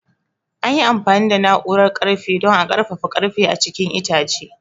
An yi amfani da na'urar ƙarfe don a ƙarfafa ƙarfe a cikin itace.